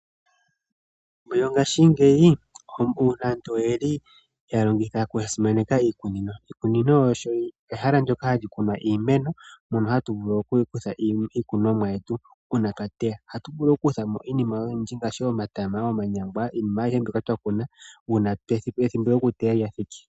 Mongashingeyi aantu oyeli ya simaneka iikunino. Iikunino olyo ehala ndoka hali kunwa iimeno, mono hatu vulu okukutha mo iikunomwa yete uuna twa teya. Ohayu vulu okukutha mo iinima oyindji ngaashi omatama, omanyangwa, iinima ayihe mbyoka twa kuna, ethimbo lyokuteya ngele lya thiki.